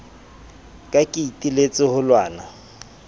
ka ke iteletse ho lwana